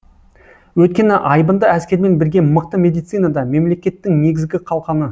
өйткені айбынды әскермен бірге мықты медицина да мемлекеттің негізгі қалқаны